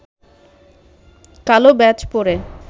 কালো ব্যাজ পরে